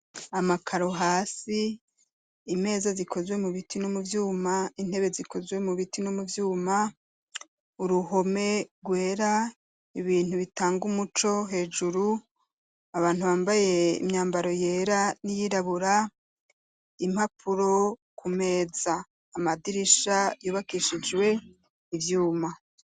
Amakaro hasi, imeza zikozwe mu biti no mu vyuma, intebe zikozwe mu biti no mu vyuma, uruhome rwera, ibintu bitanga umuco hejuru, abantu bambaye imyambaro yera n'iyirabura, impapuro ku meza; amadirisha yubakishijwe ivyuma.